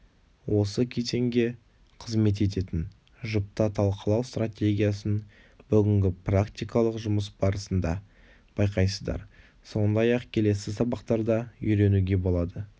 осы кезеңге қызмет ететін жұпта талқылау стратегиясын бүгінгі практикалық жұмыс барысында байқайсыздар сондай-ақ келесі сабақтарда үйренуге болады